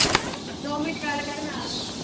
ਦੋ ਮਿੰਟ ਗੱਲ ਕਰ ਮੈਂ ਆ ਗਈ।